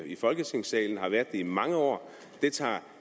i folketingssalen og har været det i mange år det tager